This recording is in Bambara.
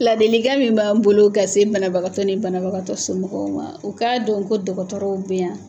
Ladilikan min b'an bolo ka se banabagatɔ ni banabagatɔ somɔgɔw ma o k'a dɔn ko dɔgɔtɔrɔw be yan